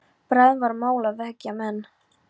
Bráðum var mál að vekja menn.